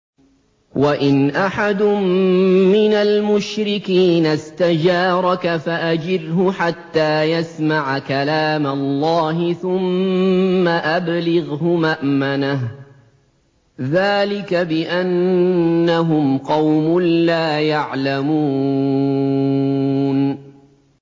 وَإِنْ أَحَدٌ مِّنَ الْمُشْرِكِينَ اسْتَجَارَكَ فَأَجِرْهُ حَتَّىٰ يَسْمَعَ كَلَامَ اللَّهِ ثُمَّ أَبْلِغْهُ مَأْمَنَهُ ۚ ذَٰلِكَ بِأَنَّهُمْ قَوْمٌ لَّا يَعْلَمُونَ